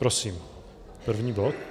Prosím, první bod.